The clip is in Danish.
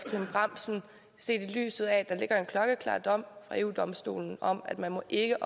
trine bramsen set i lyset af at der ligger en klokkeklar dom fra eu domstolen om at man ikke